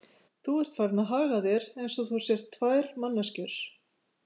Þú ert farinn að haga þér eins og þú sért tvær manneskjur.